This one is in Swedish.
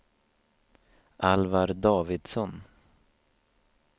Alvar Davidsson